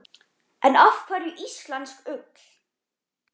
En af hverju íslensk ull?